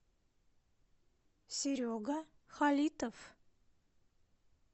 серега халитов